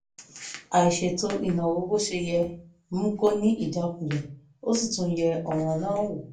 àìṣètò ìnáwó bó ṣe yẹ mú kó ní ìjákulẹ̀ ó sì tún yẹ̀ ọ̀ràn náà wò